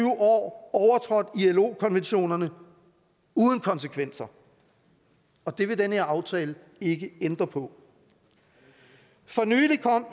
år overtrådt ilo konventionerne uden konsekvenser og det vil den her aftale ikke ændre på for nylig kom